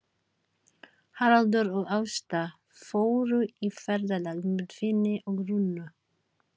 Haraldur og Ásta fóru í ferðalag með Finni og Rúnu.